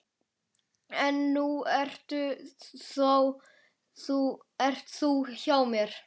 En nú ert þú hjá mér.